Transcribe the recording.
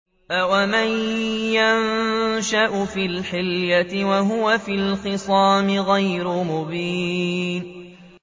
أَوَمَن يُنَشَّأُ فِي الْحِلْيَةِ وَهُوَ فِي الْخِصَامِ غَيْرُ مُبِينٍ